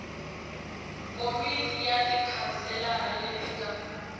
komiti ya tikhanselara leti nga